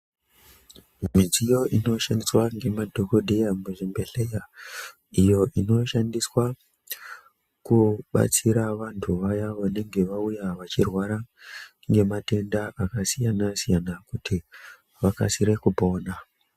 Midziyo inoshandiswa ngemadhokodheya muzvibhedhlera iyo inoshandiswa kubatsira vantu vaya vanenge vauya vachirwara ngematenda akasiyana siyana kuti vakasire kupona.